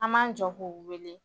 An b'an jɔ k'u wele